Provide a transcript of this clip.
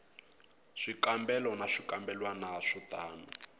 swikambelo na swikambelwana swo tano